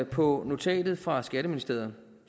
på notatet fra skatteministeriet